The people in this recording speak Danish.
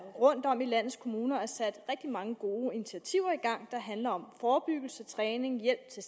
rundtom i landets kommuner er sat rigtig mange gode initiativer i gang der handler om forebyggelse træning hjælp til